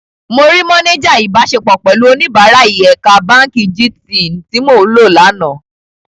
Mo rí máníjà ìbáṣepọ̀ pẹ̀lú oníbàárài ẹ̀ka báǹkì jí-Tiì tí mò ń lò lánàá.